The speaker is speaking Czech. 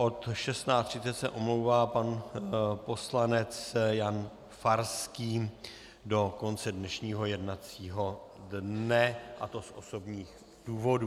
Od 16.30 se omlouvá pan poslanec Jan Farský do konce dnešního jednacího dne, a to z osobních důvodů.